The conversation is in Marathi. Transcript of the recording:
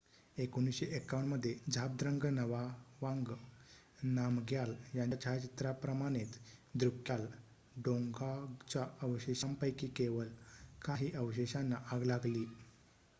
1951 मध्ये झाबद्रंग नगावांग नामग्याल यांच्या छायाचित्राप्रमाणेच द्रुक्याल डोंगॉंगच्या अवशेषांपैकी केवळ काही अवशेषांना आग लागली